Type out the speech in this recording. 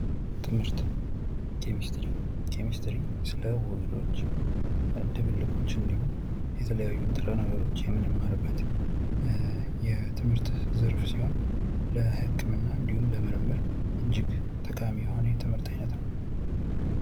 ትምህርት ኬሚስትሪ ኬሚስትሪ ስለ ውህዶች፣ ድብልቆች እንዲሁም፤ የተለያዩ ንጥረ ነገሮች የምንማርበት የትምህርት ዘርፍ ሲሆን፤ ለህክምና እንዲሁም ለምርምር እጅግ ጠቃሚ የሆነ የትምህርት ዓይነት ነው።